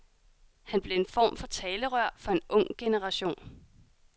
Han blev en form for talerør for en ung generation.